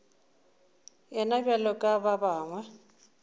yena bjalo ka ba bangwe